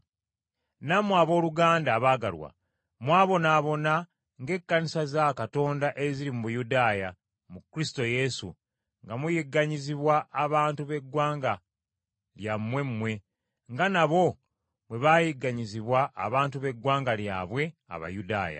Nammwe, abooluganda abaagalwa, mwabonaabona ng’Ekkanisa za Katonda eziri mu Buyudaaya mu Kristo Yesu, nga muyigganyizibwa abantu b’eggwanga lyammwe mmwe, nga nabo bwe baayigganyizibwa abantu b’eggwanga lyabwe Abayudaaya.